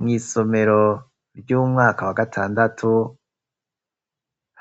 Mw'isomero ry'umwaka wa gatandatu,